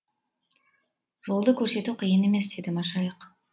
жолды көрсету қиын емес деді машайық